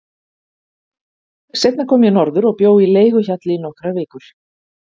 Seinna kom ég norður og bjó í leiguhjalli í nokkrar vikur.